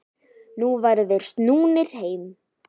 Nú væru þeir snúnir heim.